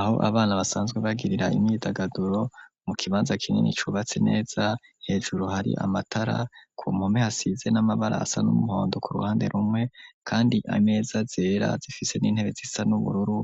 Aho abana, basanzwe bagirira, imyidagaduro, mu kibanza kinini, cubatse neza; hejuru, hari amatara, ku mpome, hasize n'amabara, asa n'umuhondo, ku ruhande rumwe, kandi ameza zera, zifise n'intebe, zisa n'ubururu,